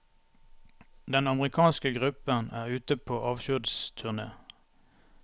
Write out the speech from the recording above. Den amerikanske gruppen er ute på avskjedsturné.